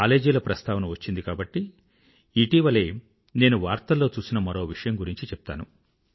కాలేజీల ప్రస్థావన వచ్చింది కాబట్టి ఇటీవలే నేను వార్తల్లో చూసిన మరో విషయం గురించి చెప్తాను